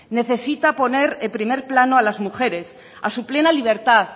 necesita poner en primer plano a las mujeres a su plena libertad